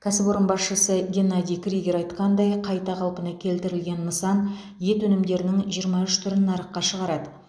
кәсіпорын басшысы геннадий кригер айтқандай қайта қалпына келтірілген нысан ет өнімдерінің жиырма үш түрін нарыққа шығарады